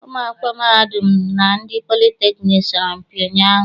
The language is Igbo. Ụmụ akwụkwọ mahadum na ndị politekniik sọrọmpi ụnyaahụ.